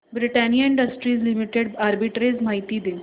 Britannia industries limited arbitrage माहिती दे